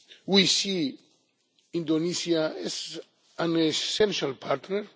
We see Indonesia as an essential partner.